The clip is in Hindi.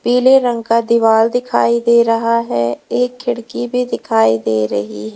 पीले रंग का दीवाल दिखाई दे रहा है एक खिड़की भी दिखाई दे रही है।